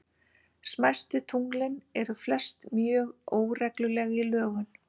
Smæstu tunglin eru flest mjög óregluleg í lögun.